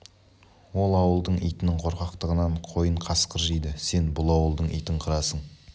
ол ауылдың итінің қорқақтығынан қойын қасқыр жейді сен бұл ауылдың итін қырасың